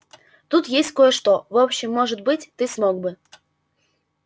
тут есть кое-что в общем может быть ты смог бы